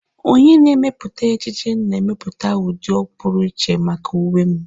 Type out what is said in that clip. Onye na-emepụta ejiji na-emepụta ụdị pụrụ iche maka uwe m.